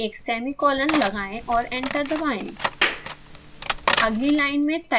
अंत में एक सेमीकोलन लगाएँ और एंटर दबाएँ